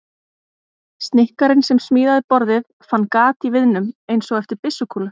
Snikkarinn sem smíðaði borðið fann gat í viðnum- einsog eftir byssukúlu.